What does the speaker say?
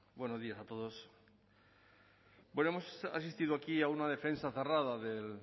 buenos días a todos bueno hemos asistido aquí a una defensa cerrada del